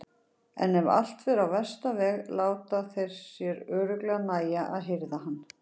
En ef allt fer á versta veg láta þeir sér örugglega nægja að hirða hann.